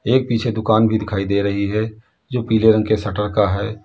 एक पीछे दुकान भी दिखाई दे रही है जो पीले रंग के शटर का है।